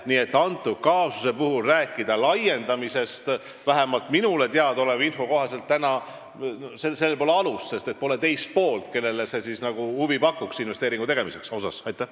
Nii et selle kaasuse puhul pole alust rääkida laiendamisest, vähemalt minule teada oleva info kohaselt, sest pole teist poolt, kellele investeeringu tegemine huvi pakuks.